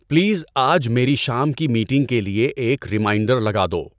please آج میری شام کی میٹنگ کے لئے ایک ریمایٔنڈر لگا دو